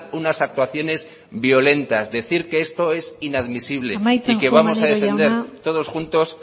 unas actuaciones violentas decir que esto es inadmisible y que vamos a defender todos juntos